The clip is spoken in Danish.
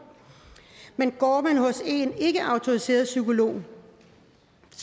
men går man hos en ikkeautoriseret psykolog